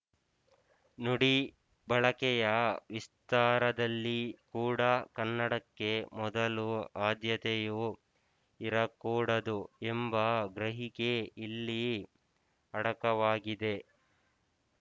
ನುಡಿ ಬಳಕೆಯ ವಿಸ್ತಾರದಲ್ಲಿ ಕೂಡ ಕನ್ನಡಕ್ಕೆ ಮೊದಲು ಆದ್ಯತೆಯು ಇರಕೂಡದು ಎಂಬ ಗ್ರಹಿಕೆ ಇಲ್ಲಿ ಅಡಕವಾಗಿದೆ